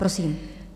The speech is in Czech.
Prosím.